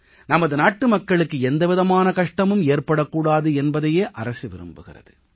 நமது நாட்டுமக்களுக்கு எந்த விதமான கஷ்டமும் ஏற்படக் கூடாது என்பதையே அரசு விரும்புகிறது